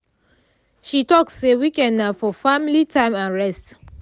she talk say weekend na for family time and rest